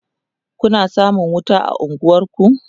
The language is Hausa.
Kuna samun wuta a unguwanku?